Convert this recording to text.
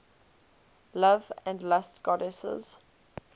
love and lust goddesses